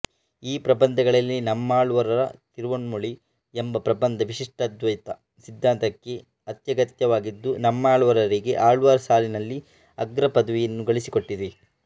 ಈ ಪ್ರಬಂಧಗಳಲ್ಲಿ ನಮ್ಮಾಳ್ವಾರರ ತಿರುವಾಯ್ಮೊಳಿ ಎಂಬ ಪ್ರಬಂಧ ವಿಶಿಷ್ಟಾದ್ವೈತ ಸಿದ್ಧಾಂತಕ್ಕೆ ಅತ್ಯಗತ್ಯವಾಗಿದ್ದು ನಮ್ಮಾಳ್ವಾರರಿಗೆ ಆಳ್ವಾರ್ ಸಾಲಿನಲ್ಲಿ ಅಗ್ರ ಪದವಿ ಗಳಿಸಿಕೊಟ್ಟಿದೆ